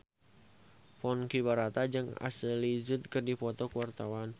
Ponky Brata jeung Ashley Judd keur dipoto ku wartawan